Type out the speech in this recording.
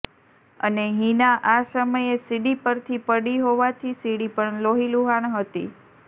અને હિના આ સમયે સીડી પરથી પડી હોવાથી સીડી પણ લોહીલૂહાણ હતી